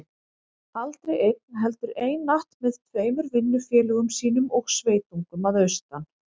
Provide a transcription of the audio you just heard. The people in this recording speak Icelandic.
Aldrei einn, heldur einatt með tveimur vinnufélögum sínum og sveitungum að austan.